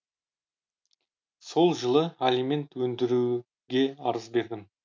сол жылы алимент өндіруге арыз бердім